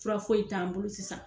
Fura foyi t'an bolo sisan.